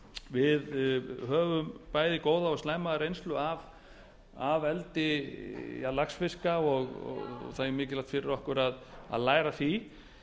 við höfum bæði góða og slæma reynslu af eldi laxfiska og það er mikilvægt fyrir okkur að læra af því